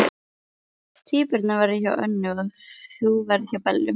Tvíburarnir verða hjá Önnu og þú ferð til Bellu.